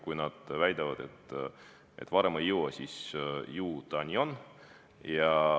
Kui nad väidavad, et varem ei jõua, siis ju see nii on.